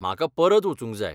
म्हाका परत वचूंक जाय.